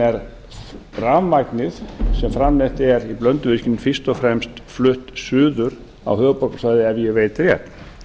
er rafmagnið sem framleitt er í blönduvirkjun fyrst og fremst flutt suður á höfuðborgarsvæðið ef ég veit rétt